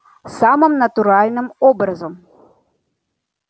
самым натуральным образом